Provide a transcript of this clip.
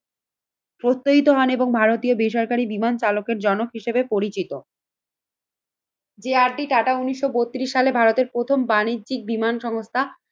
প্রত্যয়িত হন এবং ভারতীয় বেসরকারি বিমান চালকের জনক হিসেবে পরিচিত যে আর ডি টাটা উন্নিশশো বত্রিশ সালে ভারতের প্রথম বাণিজ্যিক বিমান সংস্থা